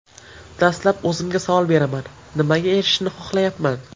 Dastlab o‘zimga savol beraman: nimaga erishishni xohlayapman?